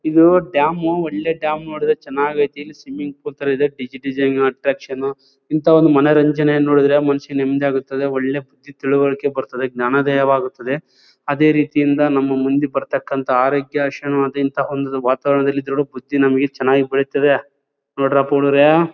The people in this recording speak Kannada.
ಇದು ಡ್ಯಾಮು ಒಳ್ಳೆ ಡ್ಯಾಮು ನೋಡಿದ್ರೆ ಚೆನ್ನಾಗಿ ಐತಿ. ಇಲ್ಲಿ ಸ್ವಿಮಿಂಗ್ ಪೂಲ್ ತರ ಇದೆ ಡಿಸ್ ಡಿಸೈನ್ ಅಟ್ರಾಕ್ಷನ್ ನು ಇಂಥವೆಲ್ಲ ಮನೋರಂಜನೆ ಯನ್ನ ನೋಡಿದ್ರೆ ಮನಸ್ಸಿಗೆ ನೆಮ್ಮದಿ ಅನ್ಸುತ್ತೆ. ಒಳ್ಳೆ ಬುದ್ದಿ ತಿಳುವಳಿಕೆ ಬರ್ತಾದ್ದೆ ಜ್ಞಾನೋದಯವಾಗುತದ್ದೆ ಅದೇ ರೀತಿಯಿಂದ ನಮ ಮುಂದೆ ಬರ್ತಕಂತ ಆರೋಗ್ಯ ಒಂದು ವಾತಾವರಣದಲ್ಲಿ ಕೂಡ ಬುದ್ದಿ ನಮಗೆ ಚೆನ್ನಾಗಿ ಬೆಳೆವುತ್ತದ್ದೆ ನೋಡ್ರಪ್ಪಾ ಹುಡುಗರೇ.